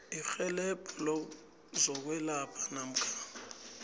irhelebho lezokwelapha namkha